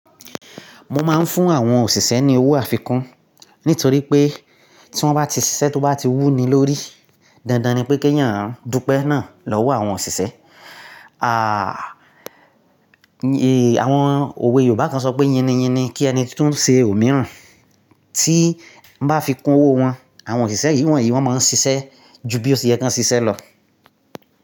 Mo máa ń fún àwọn òṣìṣẹ́ ní owó àfikún nítorí pé tí wọ́n bá ti ṣiṣẹ́ tó bá ti wú ni lórí, dandan ni pé kí èèyàn dúpẹ́ náà lọ́wọ́ àwọn òṣìṣẹ́. À, è àwọn òwe Yorùbá kan sọ pé "yínniyínni kí ẹni tun ṣe òmíràn." Tí n bá fi kún owó wọn, àwọn òṣìṣẹ́ yìí wọ́n yìí wọ́n máa ń ṣiṣẹ́ ju bí ó ṣe ye kí wọ́n ṣiṣẹ́ lọ.